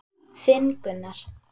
Þinn Gunnar.